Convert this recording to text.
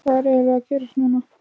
Hvað er eiginlega að gerast núna?